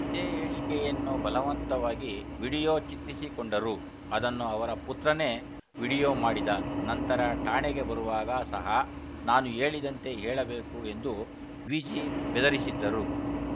ಇದೇ ಹೇಳಿಕೆಯನ್ನು ಬಲವಂತವಾಗಿ ವಿಡಿಯೋ ಚಿತ್ರೀಕರಿಸಿಕೊಂಡರು ಅದನ್ನು ಅವರ ಪುತ್ರನೇ ವಿಡಿಯೋ ಮಾಡಿದ ನಂತರ ಠಾಣೆಗೆ ಬರುವಾಗ ಸಹ ನಾನು ಹೇಳಿದಂತೆ ಹೇಳಬೇಕು ಎಂದೂ ವಿಜಿ ಬೆದರಿಸಿದ್ದರು